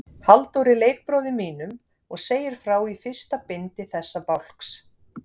Halldóri leikbróður mínum, og segir frá í fyrsta bindi þessa bálks.